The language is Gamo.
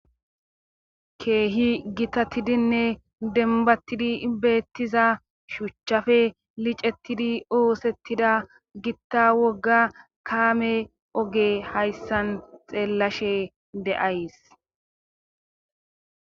Keehi gitatidinne denbattidi bettiza shuchchafe licettidi oosettida gitta wogga kaame oge hayssan xeellashe de7ays